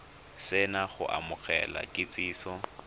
se na go amogela kitsiso